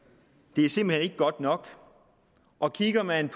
det er simpelt hen ikke godt nok og kigger man